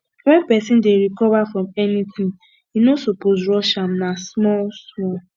wen pesin dey recover from anything e no suppose rush am na small small